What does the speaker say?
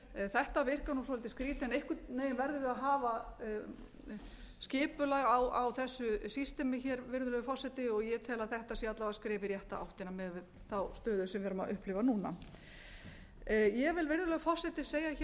þetta virkar svolítið skrýtið en einhvern veginn verðum við að hafa skipulag á þessu systemi hér virðulegur forseti og ég tel að þetta sé alla vega skref í rétta átt miðað við þá stöðu sem við erum að upplifa núna ég vil virðulegur forseti segja hér að